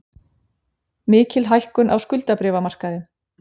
Mikil hækkun á skuldabréfamarkaði